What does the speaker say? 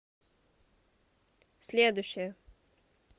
следующая